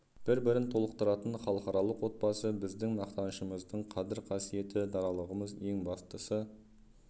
бір-бірін толықтыратын халықаралық отбасы біздің мақтанышымыздың қадір-қасиеті даралығымыз ең бастысы